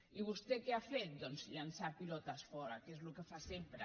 i vostè què ha fet doncs llançar pilotes fora que és el que fa sempre